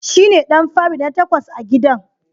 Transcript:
Shine ɗan fari na takwas a gidan..